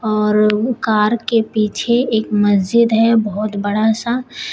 और कार के पीछे एक मस्जिद है बहुत बड़ा सा।